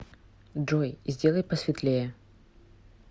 джой сделай посветлее